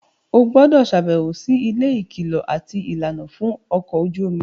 o gbúdọ̀ sàbẹ̀wò si ilé ìkìlọ̀ àti ìlànà fún ọkọ̀ ojú omi.